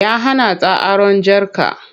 Ya hana ta aron jarka.